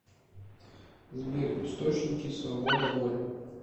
сбер источники свобода воли